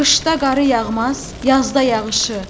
Qışda qar yağmaz, yazda yağışı.